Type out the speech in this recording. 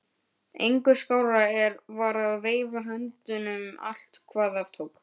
Engu skárra var að veifa höndunum allt hvað af tók.